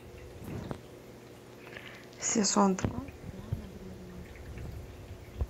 сезон два сериала древние